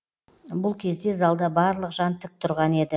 бұл кезде залда барлық жан тік тұрған еді